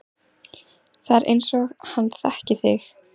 Það er einsog hann þekki þig